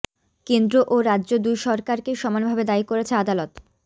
কেন্দ্র ও রাজ্য দুই সরকারকেই সমানভাবে দায়ী করেছে আদালত